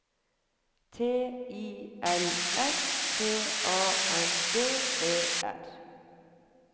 T I L S T A N D E R